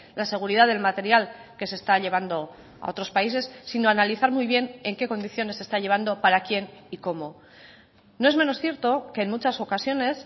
la seguridad del material que se está llevando a otros países sino analizar muy bien en qué condiciones se está llevando para quién y cómo no es menos cierto que en muchas ocasiones